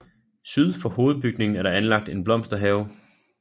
Syd for hovedbygningen er der anlagt en blomsterhave